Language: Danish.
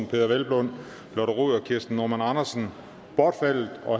peder hvelplund lotte rod og kirsten normann andersen bortfaldet